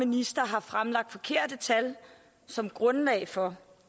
minister har fremlagt forkerte tal som grundlag for